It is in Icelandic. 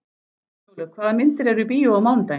Snjólaug, hvaða myndir eru í bíó á mánudaginn?